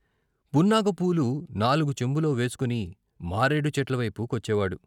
పున్నాగ పూలు నాలుగు చెంబులో వేసుకుని మారేడు చెట్ల వైపు కొచ్చేవాడు.